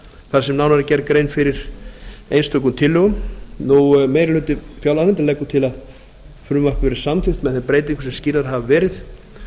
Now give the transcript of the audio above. þar sem nánar er gerð grein fyrir einstökum tillögum meiri hluti fjárlaganefndar leggur til að frumvarpið verði samþykkt með þeim breytingum sem skýrðar hafa verið